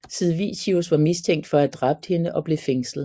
Sid Vicious var mistænkt for at have dræbt hende og blev fængslet